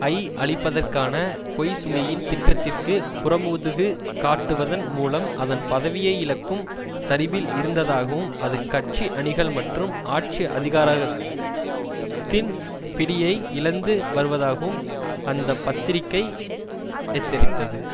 ஐ அழிப்பதற்கான கோய்சுமியின் திட்டத்திற்கு புறமுதுகு காட்டுவதன் மூலம் அதன் பதவியை இழக்கும் சரிவில் இருந்ததாகவும் அது கட்சி அணிகள் மற்றும் ஆட்சி அதிகாரகத்தின் பிடியையும் இழந்து வருவதாகவும் அந்த பத்திரிகை எச்சரித்தது